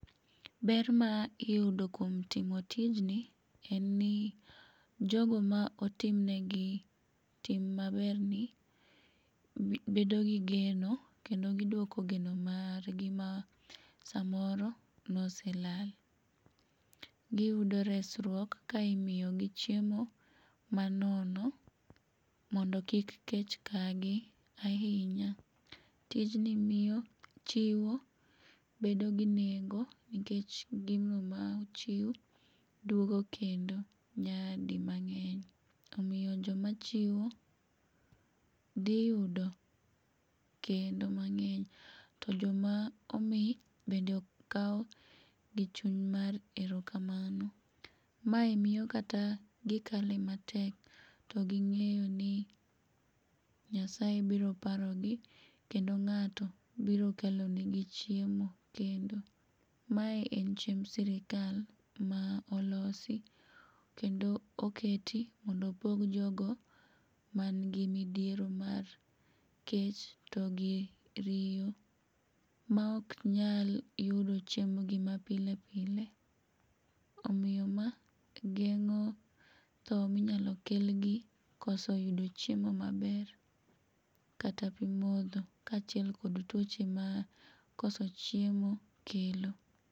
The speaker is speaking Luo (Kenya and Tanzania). Ber ma iyudo kuom timo tijni en ni jogo ma otim negi tim maberni bedo gi geno kendo giduoko geno margi ma samoro ne oselal imiyogi chiemo manono mondo kik kech kag ahinya. Tijni miyo chiwo bedo gi nengo nikech gino ma ochiw duogo kendo nyadi mang'eny omiyo joma chiwo giyudo kendo mang'eny tojoma omi bende kawo gi chuny mar erokamano. Mae miyo kata gikale matek to ging'eyo ni Nyasaye biro parogi kendo ng'ato biro kelonegi chiemo kendo. Mae en chiemb sirkal ma olosi kendo oket mondo opog jogo man gi midhiero mar kech togi riyo maok nyalmyudo chiembgi mapile pile omiyo ma geng'o tho ma inyalo kelgi koso yudo chiemo maber kod pi modho kaachiel kod tuo ma koso chiemo kelo.